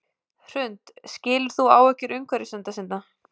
Hrund: Skilur þú áhyggjur náttúruverndarsinna?